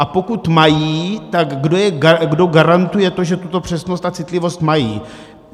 A pokud mají, tak kdo garantuje to, že tuto přesnost a citlivost mají?